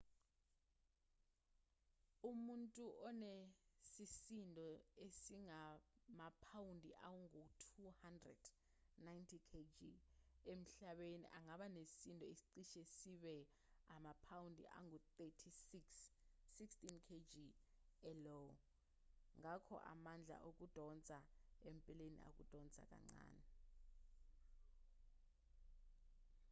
umuntu onesisindo esingamaphawundi angu-200 90kg emhlabeni angaba nesisindo esicishe sibe amaphawundi angu-36 16kg e-io. ngakho amandla okudonsa empeleni akudonsa kancane